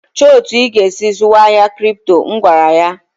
"Chọọ etu ị ga-esi zụwa ahịa Kripto!" M gwara ya.